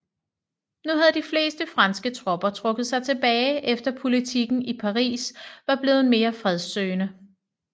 Nu havde de fleste franske tropper trukket sig tilbage efter politikken i Paris var blevet mere fredssøgende